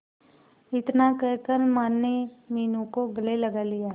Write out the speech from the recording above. इतना कहकर माने मीनू को गले लगा लिया